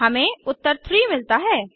हमें उत्तर 3 मिलता है